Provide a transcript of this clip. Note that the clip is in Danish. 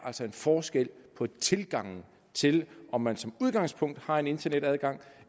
en forskel på tilgangen til om man som udgangspunkt har en internetadgang